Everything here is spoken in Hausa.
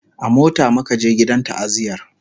a mota muka je gidan ta'aziyar